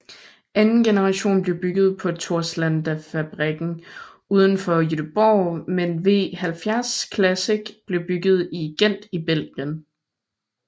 Anden generation blev bygget på Torslandafabrikken udenfor Göteborg mens V70 Classic blev bygget i Gent i Belgien